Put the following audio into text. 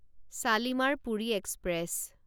Shalimar Puri express